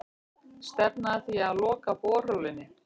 Stefna að því að loka borholunni